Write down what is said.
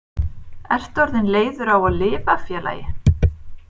Ertu orðinn leiður á að lifa félagi?